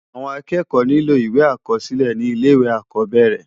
Awòn ákèékò nilò iwé ákòsilè ni ilé iwé ákòbèrè